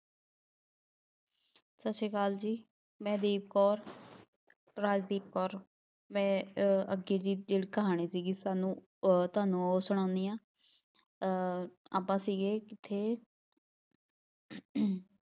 ਸਤਿ ਸ੍ਰੀ ਅਕਾਲ ਜੀ, ਮੈਂ ਦੀਪ ਕੌਰ, ਰਾਜਦੀਪ ਕੌਰ, ਮੈਂ ਅਹ ਅੱਗੇ ਦੀ ਜਿਹੜੀ ਕਹਾਣੀ ਸੀਗੀ ਤੁਹਾਨੂੰ ਅਹ ਤੁਹਾਨੂੰ ਉਹ ਸੁਣਾਉਂਦੀ ਹਾਂ ਅਹ ਆਪਾਂ ਸੀਗੇ ਕਿੱਥੇ